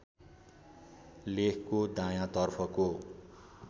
लेखको दायाँ तर्फको